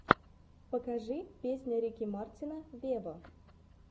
покажи песня рики мартина вево